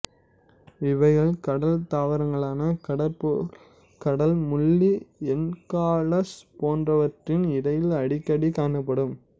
இவைகள் கடல் தாவரங்களான கடற்புல் கடல் முள்ளி என்ஹாலஸ் போன்றவற்றின் இடையில் அடிக்கடி காணப்படும்